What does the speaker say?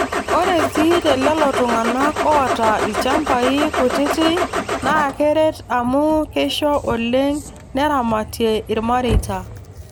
Ore sii telelo tung'anak oota ilchambai kutiti naa keret amuu keisho oleng neramatie irmareita.